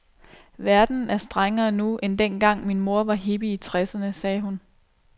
Verden er strengere nu, end dengang min mor var hippie i tresserne, sagde hun.